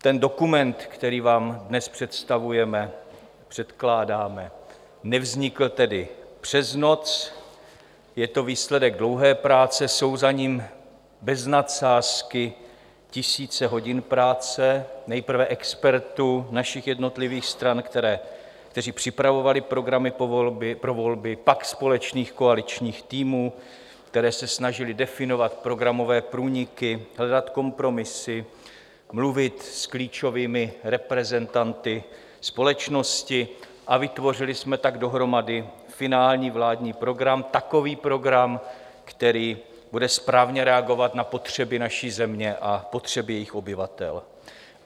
Ten dokument, který vám dnes představujeme, předkládáme, nevznikl tedy přes noc, je to výsledek dlouhé práce, jsou za ním bez nadsázky tisíce hodin práce, nejprve expertů našich jednotlivých stran, kteří připravovali programy pro volby, pak společných koaličních týmů, které se snažily definovat programové průniky, hledat kompromisy, mluvit s klíčovými reprezentanty společnosti, a vytvořili jsme tak dohromady finální vládní program, takový program, který bude správně reagovat na potřeby naší země a potřeby jejích obyvatel.